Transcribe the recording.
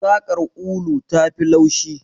Saƙar ulu tafi laushi.